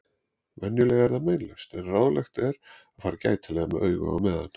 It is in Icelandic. Venjulega er það meinlaust en ráðlegt er að fara gætilega með augu á meðan.